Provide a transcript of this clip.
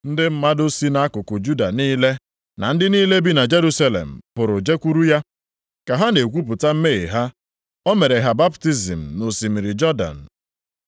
Ndị mmadụ si nʼakụkụ Judịa niile na ndị niile bi na Jerusalem pụrụ jekwuru ya. Ka ha na-ekwupụta mmehie ha, o mere ha baptizim nʼosimiri Jọdan.